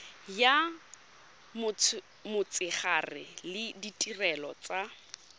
ya motshegare le ditirelo tsa